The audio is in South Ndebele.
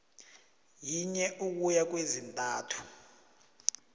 yinye ukuya kwezintathu